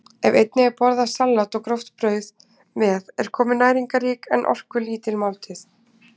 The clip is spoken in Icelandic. Ef einnig er borðað salat og gróft brauð með er komin næringarrík en orkulítil máltíð.